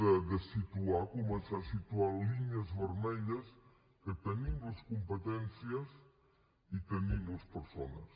de situar començar a situar línies vermelles que en tenim les competències i tenim les persones